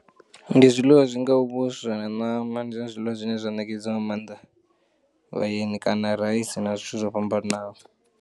Ndi zwiḽiwa zwi ngau vhuswa na ṋama ndi zwone zwiḽiwa zwine zwa nekedzwa nga maanḓa vhaeni kana raisi na zwithu zwo fhambananaho.